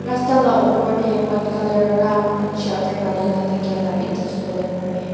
rasta laa opor dae white colour raa shelter bonai na takia la bi dikipolae parae.